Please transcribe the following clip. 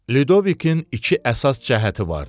Lüdovikin iki əsas cəhəti vardı.